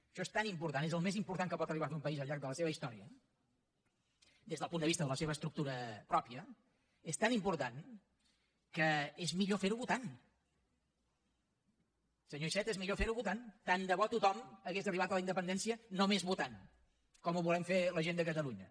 això és tan important és el més important que pot arribar a fer un país al llarg de la seva història des del punt de vista de la seva estructura pròpia és tan important que és millor ferho votant senyor iceta és millor ferho votant tant de bo tothom hagués arribat a la independència només votant com ho volem fer la gent de catalunya